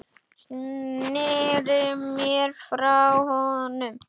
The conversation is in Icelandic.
Sneri mér frá honum.